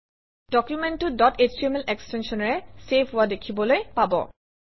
ডকুমেণ্টটো dot HTML এক্সটেনশ্যনেৰে save হোৱা দেখিবলৈ পাব